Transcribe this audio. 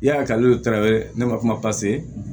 Ya kalen taara ne ma kuma pase